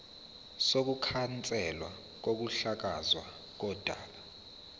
sokukhanselwa kokuhlakazwa kodaba